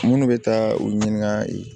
Munnu bɛ taa u ɲininka